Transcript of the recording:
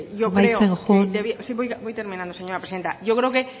amaitzen joan sí voy terminando señora presidenta yo creo que